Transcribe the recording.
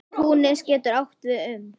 Túnis getur átt við um